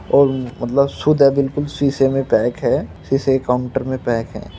और अ मतलब शुद्ध है बिल्कुल शीशे में पैक है। शीशे के कांउटर में पैक है।